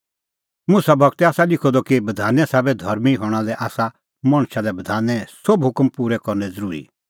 मुसा गूरै आसा लिखअ द कि बधाने साबै धर्मीं हणां लै आसा मणछा लै बधाने सोभै हुकम पूरै करनै ज़रूरी